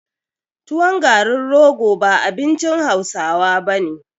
Tuwon garin rogo ba abincin hausawa bane